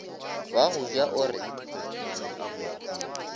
wa go ja o re